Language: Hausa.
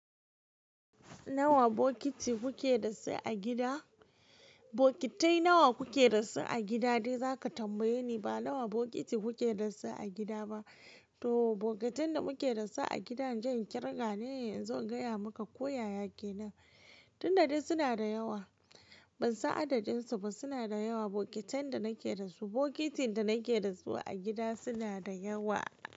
Nawa bokiti kuke da su a gida? Bokitai nawa kuke da su a gida dai za ka tambaye ni ba nawa bokiti kuke da su a gida ba. To bokatan da muke da su a gida inje in ƙirga ne, inzo in gaya maka ko yaya kenan. Tunda dai suna da yawa, ban san adadin su ba suna da yawa bokitan da nake da su. Bokitin da nake da su a gida suna da yawa.